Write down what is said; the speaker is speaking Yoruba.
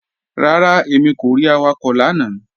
Rárá, èmi kò rí awakọ̀ lánà